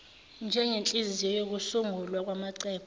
njengenhliziyo yokusungulwa kwamacebo